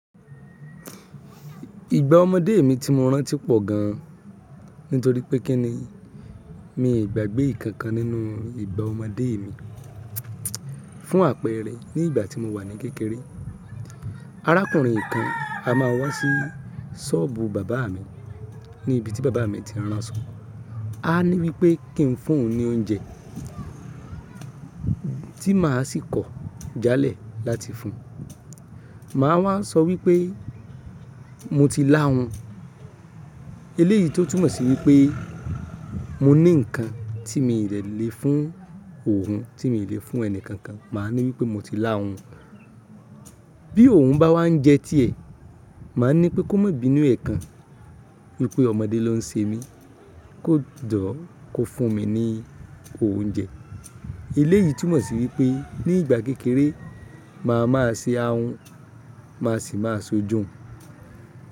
Ìgbá ọmọdé mi tí mo rántí pọ̀ gan nítorí pé kí ni, mi i gbàgbé ìkan kan nínú ìgbá ọmọdé mi. Fún àpẹẹrẹ, ní ìgbà tí mo wà ní kékeré arákùnrin kan á máa wá sí ṣọ́ọ̀bù bàbá mi ní ibi tí bàbá mi ti ránsọ, a ní wípé kí n fún oun ní oúnjẹ tí màá sì kọ̀ jálẹ̀ láti fún un. Màá wá sọ wípé mo ti lahun. Eléyìí tó túmọ̀ sí wípé mo ní nǹkan tí mi dè lè fún òun, tí mi lè fún ẹni kankan. Màá ní wípé mo ti lá hun. Bí òun bá wá ń jẹ tí ẹ̀, màá ní pé kó má bínu ẹ̀ kan, wípé ọmọdé ló ń ṣe mí kó jọ̀ kó fún mi ní oúnjẹ. Eléyìí túmọ̀ sí wípé ní ìgbà kékeré màá máa ṣe ahun màá sì máa s'ojo.